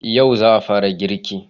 Yau za a fara girki?